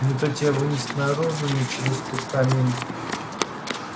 не то тебя вынесет наружу не через тот камин